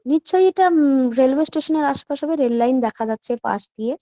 নিশ্চই এটা উ-উ রেল ওয়ে স্টেশনের -এর আশপাশে বা রেল লাইন দেখা যাচ্ছে পাশ দিয়ে ।